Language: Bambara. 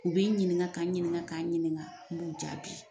U b'i ɲininga, ka n ɲininga, ka n ɲininga, n b'u jaabi.